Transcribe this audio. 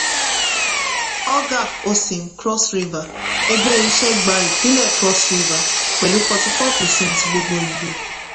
ogar osim cross river - ẹgbẹ́ iṣẹ́ gba ìpínlẹ̀ cross river pẹ̀lú fourty-four percent gbogbo ìbò.